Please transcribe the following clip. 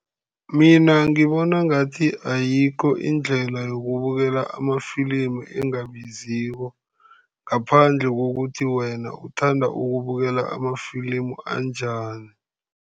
Mina ngibona ngathi ayikho indlela yokubukela amafilimu engabiziko, ngaphandle kokuthi wena uthanda ukubukela amafilimu anjani.